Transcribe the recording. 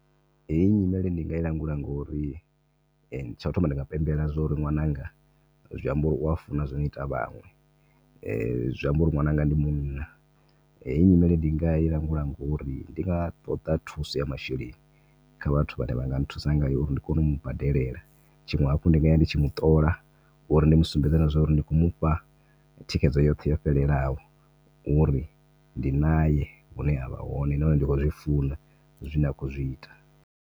Hei nyimele ndi nga i langula ngauri tsha u thoma ndi nga pembela zwa uri ṅwananga zwi amba wa funa zwino ita vhaṅwe zwa amba uri ṅwananga ndi munna. Heyi nyimele ndi nga i langula ngauri ndi nga ṱoḓa thuso ya masheleni kha vhathu vhane vha nga thusa uri ndi kone umu badelela. Tshiṅwe hafhu ndi nga vhuya ndi tshi muṱola uri ndi musumbedze zwa uri ndi khou mufha thikhedzo yoṱhe yo fhelelaho uri ndi nae hune a vha hone na hone ndi khou zwi funa zwine a khou zwi ita.